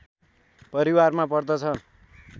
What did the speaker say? परिवारमा पर्दछ